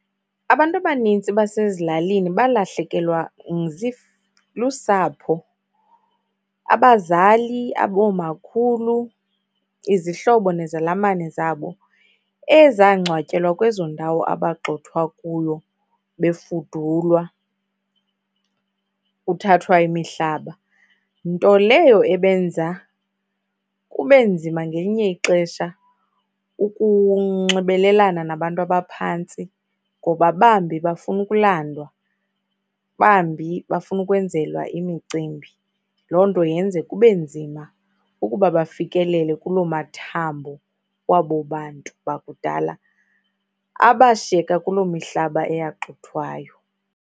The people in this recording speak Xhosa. Abantu abanintsi basezilalini balahlekelwa lusapho, abazali oomakhulu, izihlobo nezalamane zabo ezangcwatyelwa kwezo ndawo abagqxothwa kuyo befudulwa, kuthathwa imihlaba. Nto leyo ebenza kube nzima ngelinye ixesha ukunxibelelana nabantu abaphantsi ngoba bambi bafuna ukulandwa, bambi bafuna ukwenzelwa imicimbi. Loo nto yenze kube nzima ukuba bafikelele kuloo mathambo kwabo bantu bakudala abashiyeka kuloo mihlaba eyaxuthwayo.